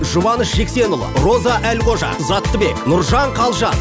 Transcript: жұбаныш жексенұлы роза әлқожа заттыбек нұржан қалжан